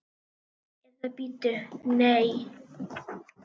Eða bíddu, nei.